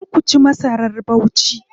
Kar ku ci masar Bauchi.